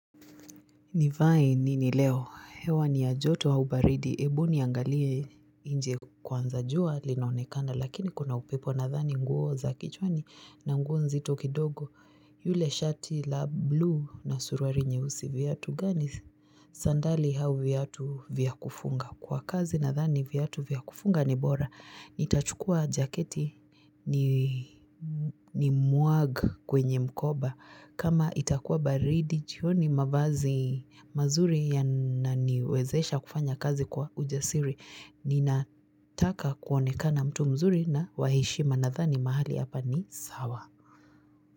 Nivae nini leo, hewa ni ya joto au baridi, hebu niangalie nje kwanza jua linaonekana lakini kuna upepo nadhani nguo za kichwani na nguo nzito kidogo yule shati la blue na suruali nyeusi viatu gani sandali au viatu vya kufunga kwa kazi nadhani viatu vya kufunga ni bora. Nitachukua jaketi ni muag kwenye mkoba. Kama itakuwa baridi jioni mavazi mazuri yananiwezesha kufanya kazi kwa ujasiri. Ninataka kuonekana mtu mzuri na waheshima nadhani mahali hapa ni sawa.